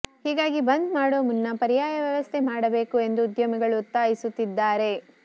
ಹೀಗಾಗಿ ಬಂದ್ ಮಾಡುವ ಮುನ್ನ ಪರ್ಯಾಯ ವ್ಯವಸ್ಥೆ ಮಾಡಬೇಕು ಎಂದು ಉದ್ಯಮಿಗಳು ಒತ್ತಾಯಿಸುತ್ತಿದ್ದಾರೆ